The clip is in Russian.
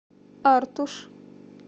артуш